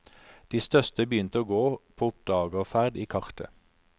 De største begynte å gå på oppdagerferd i kartet.